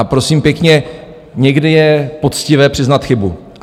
A prosím pěkně, někdy je poctivé přiznat chybu.